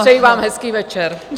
Přeji vám hezký večer.